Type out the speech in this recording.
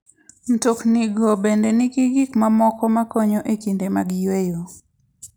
Mtoknigo bende nigi gik mamoko makonyo e kinde mag yueyo.